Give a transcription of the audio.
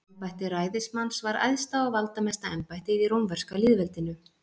Embætti ræðismanns var æðsta og valdamesta embættið í rómverska lýðveldinu.